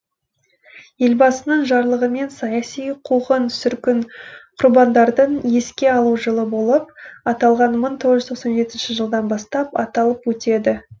елбасының жарлығымен саяси қуғын сүргін құрбандардың еске алу жылы болып аталған мың тоғыз жүз тоқсан жетінші жылдан бастап аталып өтеді